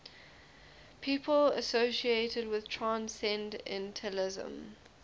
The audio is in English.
people associated with transcendentalism